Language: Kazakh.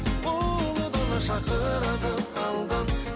ұлы дала шақырады алдан